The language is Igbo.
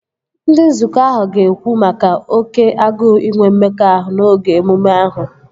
Ndị nzukọ ahụ ga-ekwu maka oké agụụ inwe mmekọahụ n'oge emume ahụ